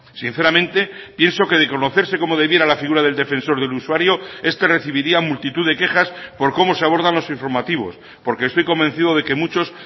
sinceramente pienso que de conocerse como debiera la figura del defensor del usuario este recibiría multitud de quejas por cómo se abordan los informativos porque estoy convencido de que muchos